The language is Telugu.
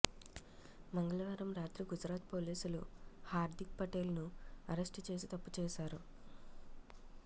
మంగళవారం రాత్రి గుజరాత్ పోలీసులు హార్దిక్ పటేల్ ను అరెస్టు చేసి తప్పు చేశారు